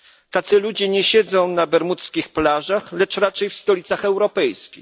Tacy ludzie nie siedzą na bermudzkich plażach, lecz raczej w stolicach europejskich.